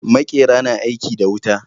Maƙera na aiki da wuta.